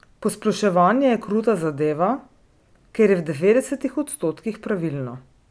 Posploševanje je kruta zadeva, ker je v devetdesetih odstotkih pravilno.